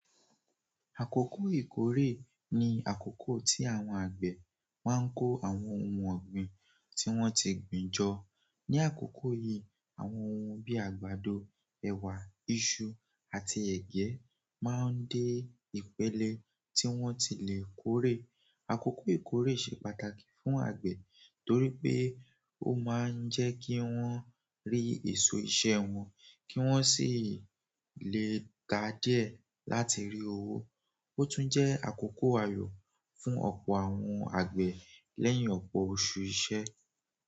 Àkókò ìkórè ní àkókò tí àwọn àgbẹ̀ máa ń kó àwọn ohun ọ̀gbìn tí wọ́n ti gbin jọ. Ni àkókò yìí, àwọn ohun bíi àgbàdo, ẹ̀wà, iṣu àti ẹ̀gẹ́ máa ń dé ìpele tí wọ́n ti lè kórè. Àkókò ìkórè ṣe pàtàkì fún àgbẹ̀ torí pé ó máa ń jẹ́ kí wọ́n rí èso iṣẹ́ wọn kí wọ́n sì lè ká díẹ̀ láti rí owó. Ó tún jẹ́ àkókò ayọ̀ fún ọ̀pọ̀ àwọn àgbẹ̀ lẹ́yìn ọ̀pọ̀ oṣù iṣẹ́.